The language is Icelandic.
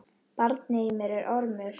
Barnið í mér er ormur.